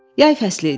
Yay fəslidir.